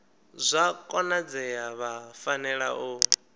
zwa konadzea vha fanela u